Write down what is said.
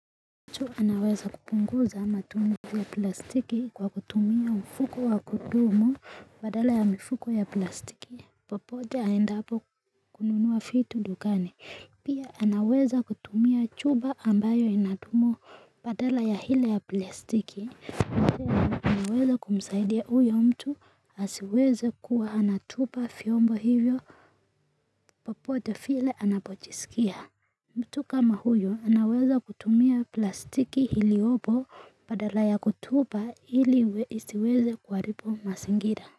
Mtu anaweza kupunguza matumizi ya plastiki kwa kutumia mfuko wa kudumu badala ya mfuko ya plastiki popote aendapo kununua fitu dukani pia anaweza kutumia chuba ambayo inadumu badala ya hile ya plastiki Naweza kumsaidia uyo mtu asiweze kuwa anatupa fyombo hivyo popote file anapochisikia mtu kama huyo anaweza kutumia plastiki iliobo padala ya kutupa ili isiweze kuwaripu masingira.